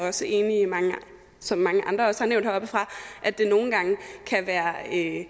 også enige i som mange andre også har nævnt heroppefra at det nogle gange kan være